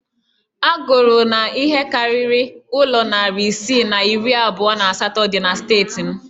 A gụrụ na ihe karịrị ụlọ narị isii na iri abụọ na asatọ dị na steeti m